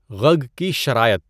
غگ کی شرائط